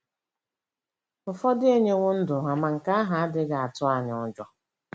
Ụfọdụ enyewo ndụ ha, ma nke ahụ adịghị atụ anyị ụjọ.